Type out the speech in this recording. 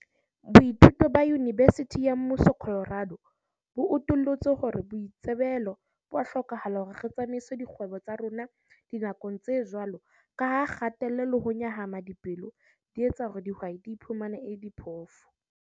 Boithuto ba Yinibesithi ya Mmuso Colorado bo utullotse hore boitsebelo bo a hlokahala hore re tsamaise dikgwebo tsa rona dinakong tse jwalo ka ha kgatello le ho nyahama pelo di etsa hore dihwai di iphumane e le diphofu.